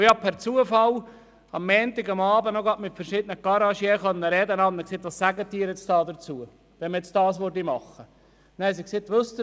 Ich konnte zufälligerweise am Montagabend mit verschiedenen Garagisten sprechen und fragte sie nach ihrer Meinung betreffend die Forderung dieses Vorstosses.